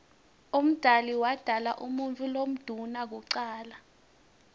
umdali wodala umuutfu lomdouna kucala